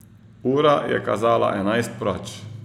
Ura je kazala enajst proč.